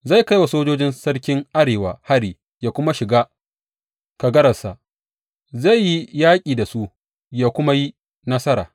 Zai kai wa sojojin sarkin Arewa hari yă kuma shiga kagararsa; zai yi yaƙi da su yă kuma yi nasara.